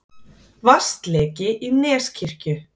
Vatnsleki í Neskirkju